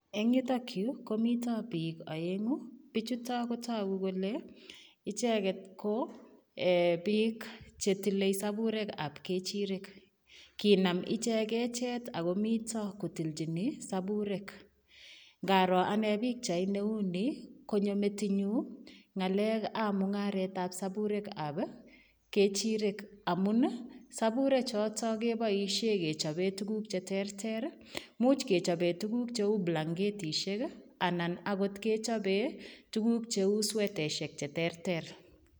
Eng yutoon Yuu komitaa biik aenguu, bichutoon ko taguu kole ichegeet ko biik che tile saburek ab kechireek ako mitaa komii ko tiljiin saburek nga aroor ane pichait ne uu nii konyoo metinyuun ngalek ab mungaret ab saburek ab kechireek amuun ii saburek chotoon kebaisheen kechapeen tuguuk che terter ii , imuuch kechapeen tuguuk che uu blanketisheek anan akoot kechapeen tuguuk che uu sweteishek che terter.